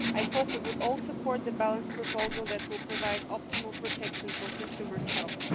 I hope that we will all support the balanced proposal, which will provide optimal protection for consumers' health.